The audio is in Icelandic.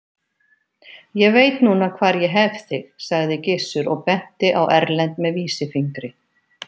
Ég veit núna hvar ég hef þig, sagði Gizur og benti á Erlend með vísifingri.